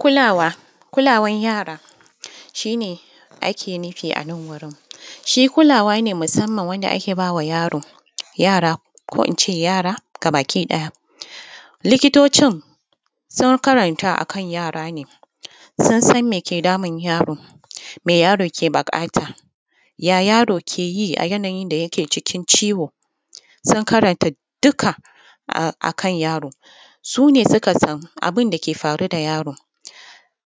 Kulawa. Kulawan yara shi ne ake nifi a nan wurin shi kulawa ne musanman wanda ake ba ma yaro ko in ce yara gabakiɗaya, likitocin sun karanta ne akan yara ne karatun sun san me ke damun yaro, me yaron ke buƙata, ya yaro ke yi a yanayin da yake cikin ciwo, sun karanta dikka akan yaro, su ne suka san abun da ke faru da yaron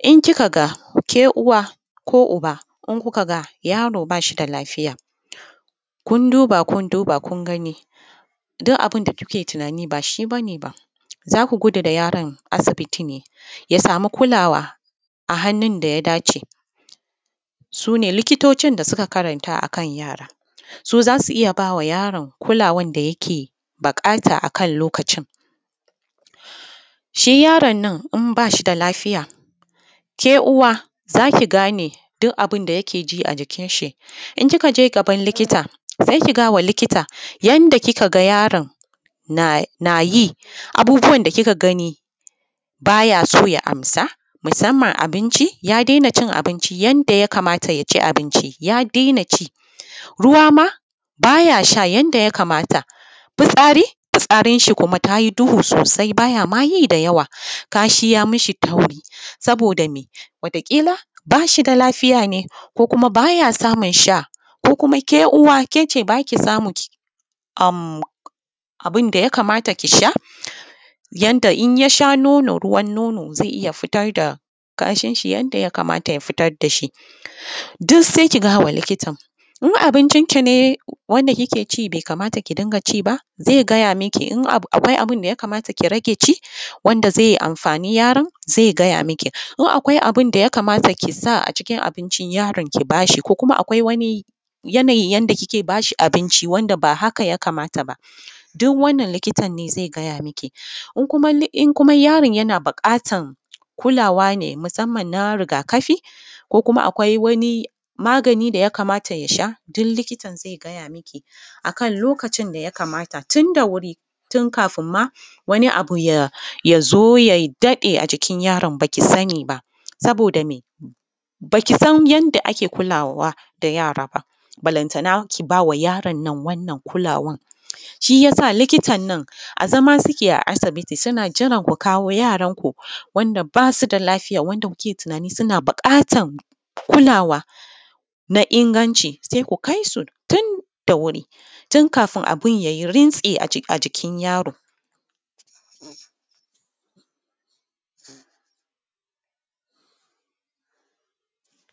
in kika ga ke uwa ko uba in kuka ga yaro ba shi da lafiya kun duba, kun duba kun gani duk abin da kuke tinani ba shi ba ne ba za ku gudu da yaron asibiti ya sama kulawa a hannun da ya dace su ne likitocin da suka karanta akan yara. Su za su iya bai wa yaron kulawan da yake buƙata lokacin shi yaron nan in ba shi da lafiya ke uwa za ki gane dik abin da yake ji a jikinshi, in kika je gaban likita ki ga ya wa likitta yanda kika ga yaron na yi. Abubuwan da kika ga ni ba ya so ya amsa musanman abinci, ya dena cin abinci yanda ya kamata, ya ci abinci, ya dena ci ruwa ma, ba ya sha yanda ya kamata. Fitsari, fitsarinsa ta yi duhu sosai ma ba ya ma yi da yawa, kashi ya mi shi kauri saboda me wata ƙilan ba shi da lafiya ne ko kuma ba ya samun sha ko kuma ke uwa ke ce ba kya samun abin da ya kamata, ki sha yanda in ya sha nono ruwan nono zai iya fitar da kashin shi yanda ya kamata. Ya fitar da shi duk sai ki gaya ma likitan ko abincin ki ne wanda kike ci bai kamata ki ci, zai gaya miki in akwai abin da ya kamata ki dinga ci, zai gaya miki wanda zai anfani yaron zai gaya miki ko abin da ya kamata ki sa a cikin abincin yaron ko kuma akwai wani yanayi wanda kike ba shi abinci yake ba haka ba. Duw wannan likitan ne zai gaya miki in kuma yaron yana neman kulawa ne musanman na rigakafi ko kuma akwai wani magani da ya kamata ya sha duk likitan zai gaya miki, akan lokacin da ya kamata dan kafin ma wani abu ya zo ya daɗe a jikin yaron ba a sani ba. Saboda me ba ki san yanda ake kulawa yara ba balantana ki ba wa yaron nan wannan kulawan, shi ya sa likitan nan za mu yake a asibiti suna jiran ku kawo yaranko da ake tinani ana buƙatan kulawa me inganci, ku kai su tun da wuri tinkafin abin ya yi rintsi a jikin yaro.